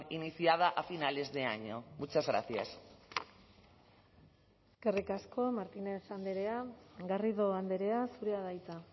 iniciada a finales de año muchas gracias eskerrik asko martínez andrea garrido andrea zurea da hitza